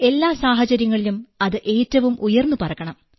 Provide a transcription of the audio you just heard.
എല്ലാ സാഹചര്യങ്ങളിലും അത് ഏറ്റവും ഉയർന്നു പറക്കണം